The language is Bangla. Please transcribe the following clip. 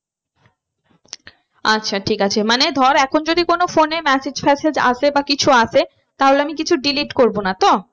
আচ্ছা ঠিক আছে মানে ধর এখন যদি কোনো phone এ massage ফ্যাসেজ আসে বা কিছু আসে তাহলে আমি কিছু delete করবো না তো?